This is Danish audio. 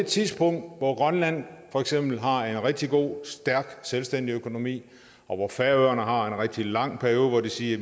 tidspunkt hvor grønland for eksempel har en rigtig god og stærk selvstændig økonomi og hvor færøerne har en rigtig lang periode hvor de siger